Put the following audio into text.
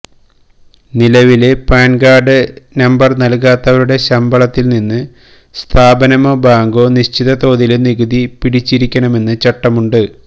നിലവില് PAN card number നല്കാത്തവരുടെ ശമ്പളത്തില് നിന്ന് സ്ഥാപനമോ ബാങ്കോ നിശ്ചിത തോതില് നികുതി പിടിച്ചിരിക്കണമെന്ന് ചട്ടമുണ്ട്